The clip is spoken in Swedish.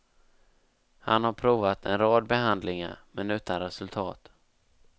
Han har provat en rad behandlingar, men utan resultat.